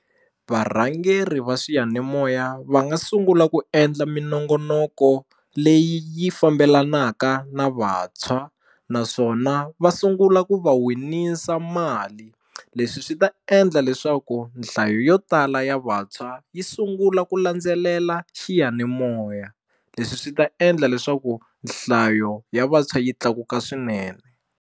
Varhangeri va swiyanimoya va nga sungula ku endla minongonoko leyi yi fambelanaka na vantshwa naswona va sungula ku va winisa mali leswi swi ta endla leswaku nhlayo yo tala ya vantshwa yi sungula ku landzelela xiyanimoya leswi swi ta endla leswaku nhlayo ya vantshwa yi tlakuka swinene.